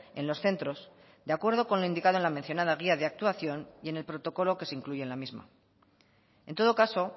en los centros de acuerdo con lo indicado en la mencionada guía de actuación y en el protocolo que se incluye en la misma en todo caso